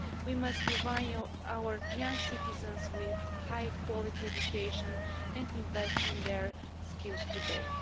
We must provide our young citizens with high quality education and invest in their skills today.